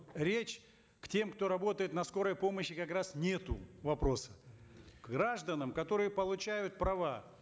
речи к тем кто работает на скорой помощи как раз нету вопроса к гражданам которые получают права